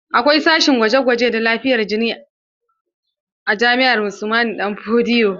Akwai sashen gwaje-gwaje da lafiyar jini a jami'ar Usman danfodiyo.